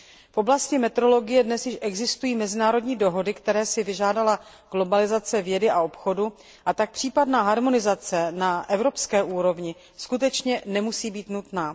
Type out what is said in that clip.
V oblasti metrologie dnes již existují mezinárodní dohody, které si vyžádala globalizace vědy a obchodu, a tak případná harmonizace na evropské úrovni skutečně nemusí být nutná.